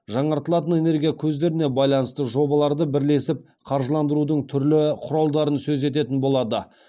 жаңартылатын энергия көздеріне байланысты жобаларды бірлесіп қаржыландырудың түрлі құралдарын сөз ететін болады